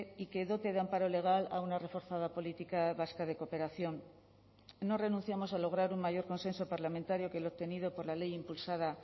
y que dote de amparo legal a una reforzada política vasca de cooperación no renunciamos a lograr un mayor consenso parlamentario que el obtenido por la ley impulsada